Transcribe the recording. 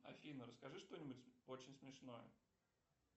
афина расскажи что нибудь очень смешное